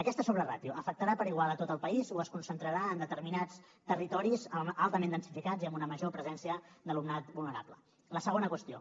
aquesta sobreràtio afectarà per igual tot el país o es concentrarà en determinats territoris altament densificats i amb una major presència d’alumnat vulnerable la segona qüestió